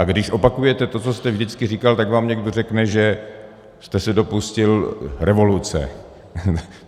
A když opakujete to, co jste vždycky říkal, tak vám někdo řekne, že jste se dopustil revoluce.